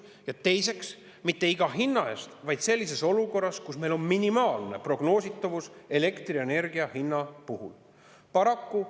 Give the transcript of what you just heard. Ja seda mitte mis tahes hinnaga, vaid sellises olukorras, kus meil on elektrienergia hinna puhul minimaalne prognoositavus.